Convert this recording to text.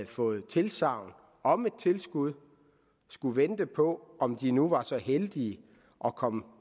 fået tilsagn om et tilskud skal vente på om de nu er så heldige at komme